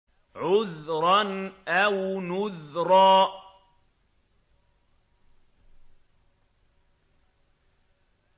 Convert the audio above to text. عُذْرًا أَوْ نُذْرًا